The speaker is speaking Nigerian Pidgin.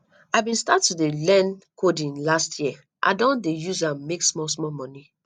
i bin start to do learn coding last year i don dey dey use am make small small moni